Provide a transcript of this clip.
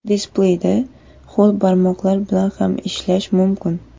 Displeyda ho‘l barmoqlar bilan ham ishlash mumkin.